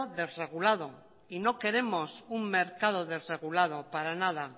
desregulado y no queremos un mercado desregulado para nada